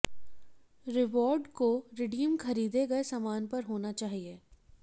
reward को redeem खरीदें गए सामान पर होना चाहिए